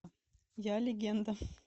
я легенда